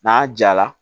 N'a jala